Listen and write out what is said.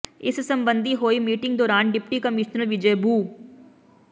ਇਸ ਸਬੰਧੀ ਹੋਈ ਮੀਟਿੰਗ ਦੌਰਾਨ ਡਿਪਟੀ ਕਮਿਸ਼ਨਰ ਵਿਜੈ ਬੁ